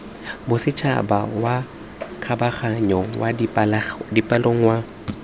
bosetšhaba wa kgabaganyo wa dipalangwa